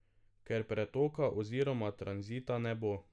Ker pretoka oziroma tranzita ne bo.